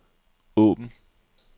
åbn